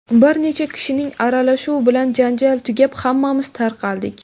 Bir necha kishining aralashuvi bilan janjal tugab, hammamiz tarqaldik.